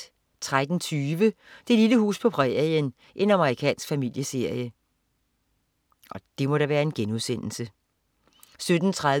13.20 Det lille hus på prærien. Amerikansk familieserie 17.30